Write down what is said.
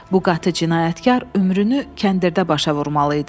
Bu qatı cinayətkar ömrünü kəndirdə başa vurmalı idi.